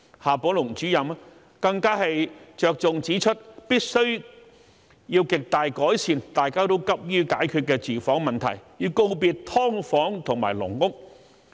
夏寶龍主任更着重指出必須極大改善大家均急於解決的住房問題，告別"劏房"和"籠屋"。